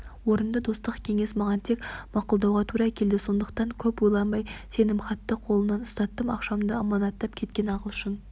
орынды достық кеңес маған тек мақұлдауға тура келді сондықтан көп ойланбай сенімхатты қолына ұстаттым ақшамды аманаттап кеткен ағылшын